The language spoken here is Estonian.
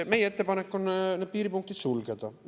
Meie ettepanek on need piiripunktid sulgeda.